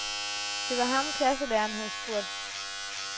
Det var ham klasselæreren havde spurgt.